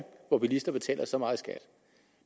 hvor bilister betaler så meget skat